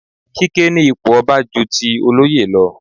Kíké ní ipò ọba ju ti olóyè lọ.